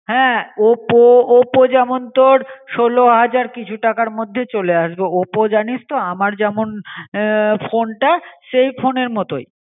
হ্যাঁ oppo, oppo জমন তোর ষোলো হাজার কিছু টাকার মধ্যে চলে আসবে. oppo জানিস আমার যেমন এ ফোন তা সে ফোনের মতোই